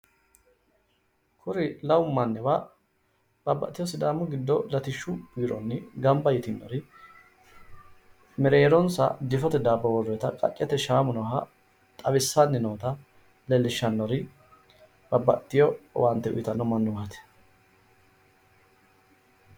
kuni lamu mannuwa baabbaxiteyo sidaamu giddo latishshu biirionni gamaba yitinori mereeronsa difote daabbo woreenna qaccete shaamu nooha xawissaanni noota leellishshannori babbaxxiteyo owaante utiitanno mannotaati